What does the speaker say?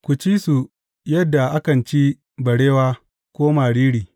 Ku ci su yadda akan ci barewa ko mariri.